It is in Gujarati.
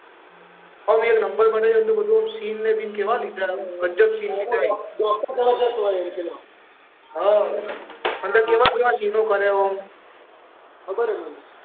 હ એક નંબર બનાવ્યું સીન બીન કેવા લીધા ગજબ સીન લીધા ડોક્ટર જબરજસ્ત હોય હ પેલો હ અંદર કેવા કેવા સીન કર્યા હોય ખબર હ મને